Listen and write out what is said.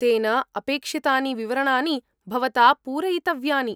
तेन अपेक्षितानि विवरणानि भवता पूरयितव्यानि।